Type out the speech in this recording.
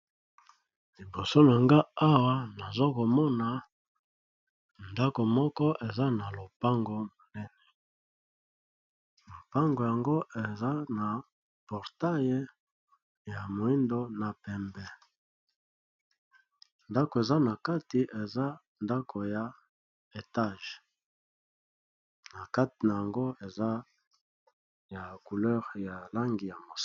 Liboso nanga awa nazokomona ndako moko eza na lopango monene, lopango yango eza na portale ya moindo na pembe. Ndako eza na kati eza ndako ya etage na kati na yango eza ya kouleur ya langi ya mosaka.